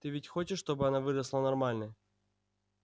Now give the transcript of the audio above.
ты ведь хочешь чтобы она выросла нормальной